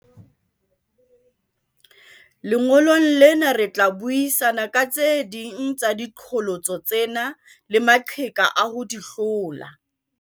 Lengolong lena re tla buisana ka tse ding tsa diqholotso tsena le maqheka a ho di hlola.